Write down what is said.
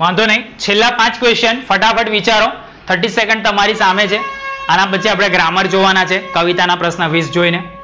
વાંધો નઇ છેલ્લા પાંચ question ફટાફટ વિચારો. thirty second તમારી સામે છે આના પછી આપણે ગ્રામર જોવાના છે. કવિતાના પ્રશ્ન વીસ જોઈને.